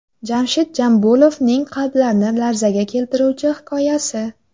Jamshid Jambulovning qalblarni larzaga keltiruvchi hikoyasi.